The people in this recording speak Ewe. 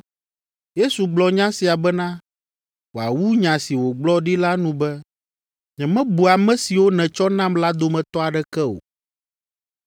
Yesu gblɔ nya sia bena wòawu nya si wògblɔ ɖi la nu be, “Nyemebu ame siwo nètsɔ nam la dometɔ aɖeke o.”